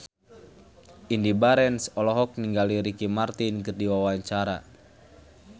Indy Barens olohok ningali Ricky Martin keur diwawancara